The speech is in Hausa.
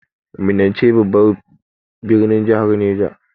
Minna ce babban birnin jahar Neja.